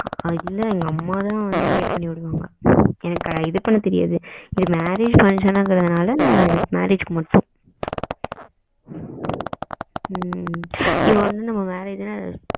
இல்ல எங்க அம்மா தான் வந்து wear பண்ணி விடுவாங்க எனக்கு இது பண்ண தெரியாது marriage function கிறதுனால marriage க்கு மட்டும் ஓ சரி ம் இது வந்து நம்ம marriage